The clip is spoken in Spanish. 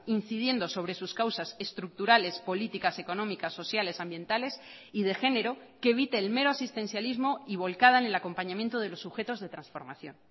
incidiendo sobre sus causas estructurales políticas económicas sociales ambientales y de género que evite el mero asistencialismo y volcada en el acompañamiento de los sujetos de transformación